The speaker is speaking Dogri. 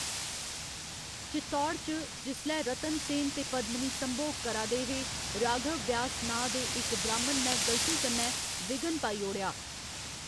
चित्तौड़ च, जिसलै रतन सेन ते पद्मिनी संभोग करा दे हे, राघव व्यास नांऽ दे इक ब्राह्‌‌मन ने गलती कन्नै विघ्न पाई ओड़ेआ।